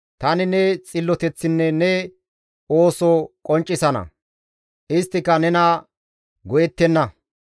Tani ne xilloteththinne ne ooso qonccisana; isttika nena go7ettenna.